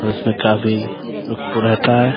उसमें काफी रहता है।